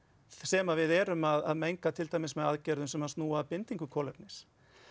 sem að við erum að menga með aðgerðum sem snúa að bindingu kolefnis